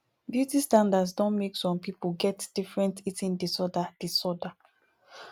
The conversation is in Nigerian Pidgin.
beauty standards don make some pipo get different eating disorder disorder